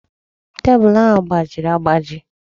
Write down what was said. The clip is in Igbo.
Tebụl ahụ gbajiri agbaji.